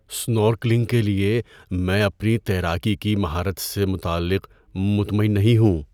Snorkelling کے لیے میں اپنی تیراکی کی مہارت سے متعلق مطمئن نہیں ہوں۔